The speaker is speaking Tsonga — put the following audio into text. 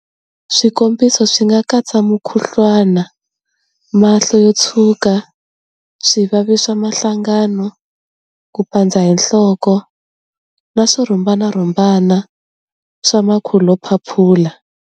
Swikombiso swi nga katsa mukhuhlwana, mahlo yo tshuka, swivavi swa mahlangano, ku pandza hi nhloko, na swirhumbarhumbana swa makhulophaphula.